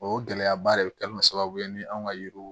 O gɛlɛyaba de bɛ kɛ sababu ye ni anw ka yiriw